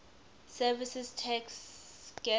services tax gst